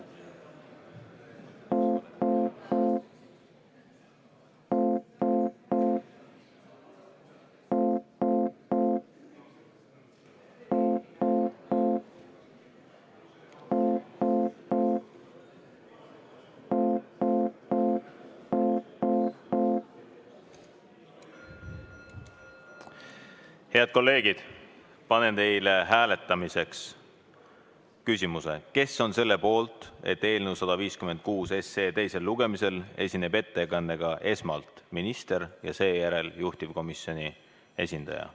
Head kolleegid, panen teie ette hääletamiseks küsimuse, kes on selle poolt, et eelnõu 156 teisel lugemisel esineb ettekandega esmalt minister ja seejärel juhtivkomisjoni esindaja.